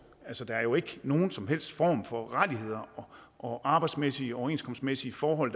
altså der er jo ikke nogen som helst form for rettigheder og arbejdsmæssige og overenskomstmæssige forhold